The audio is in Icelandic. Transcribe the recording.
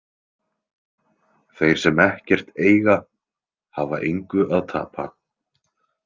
Þeir sem ekkert eiga, hafa engu að tapa.